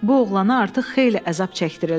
Bu oğlana artıq xeyli əzab çəkdirildi.